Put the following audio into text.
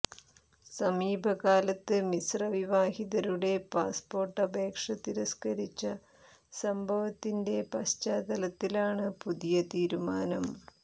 സമീപകാലത്ത് മിശ്രവിവാഹിതരുടെ പാസ്പോര്ട്ട് അപേക്ഷ തിരസ്കരിച്ച സംഭവത്തിന്റെ പശ്ചാത്തലത്തിലാണ് പുതിയ തീരുമാനം